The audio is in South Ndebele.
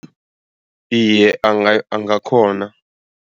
Iye, angakghona.